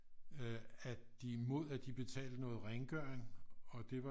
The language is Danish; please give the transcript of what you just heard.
Øh at de mod at de betalte noget rengøring og det var